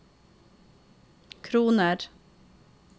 kroner